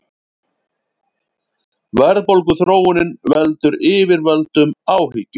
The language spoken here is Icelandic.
Verðbólguþróunin veldur yfirvöldum áhyggjum